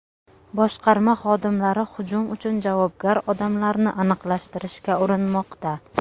Boshqarma xodimlari hujum uchun javobgar odamlarni aniqlashtirishga urinmoqda.